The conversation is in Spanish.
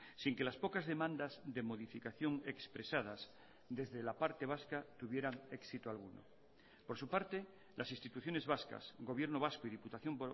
sin que las pocas demandas de modificación expresadas desde la parte vasca tuvieran éxito alguno por su parte las instituciones vascas gobierno vasco y diputación